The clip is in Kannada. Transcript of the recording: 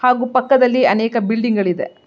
ಹಾಗೂ ಪಕ್ಕದಲ್ಲಿ ಅನೇಕ ಬಿಲ್ಡಿಂಗ್ ಗಳಿದೆ.